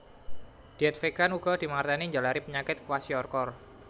Dièt vegan uga dimangertèni njalari penyakit kwashiorkor